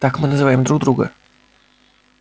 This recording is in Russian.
так мы называем друг друга